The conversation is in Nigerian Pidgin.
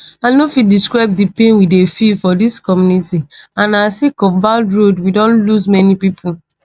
"i no fit describe di pain we dey feel for dis community and na sake of bad road we don lose many pipo."